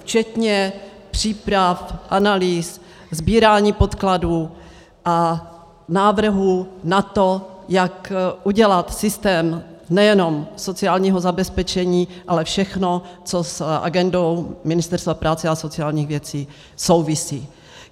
Včetně příprav, analýz, sbírání podkladů a návrhů na to, jak udělat systém nejenom sociálního zabezpečení, ale všechno, co s agendou Ministerstva práce a sociálních věcí souvisí.